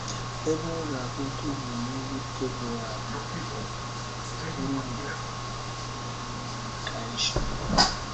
Ebe ọ ga - akpọtụ bụ n’Ugwu Teboa na na ndagwurugwu mmiri iyi Kaịshọn.